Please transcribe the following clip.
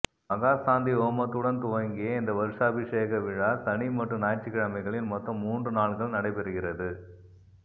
மகா சாந்தி ஹோமத்துடன் துவங்கிய இந்த வருஷாபிஷேக விழா சனி மற்றும் ஞாயிற்றுக்கிழமைகளில் மொத்தம் மூன்று நாள்கள் நடைபெறுகி